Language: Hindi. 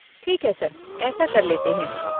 ठीक है सर, ऐसा कर लेते हैं।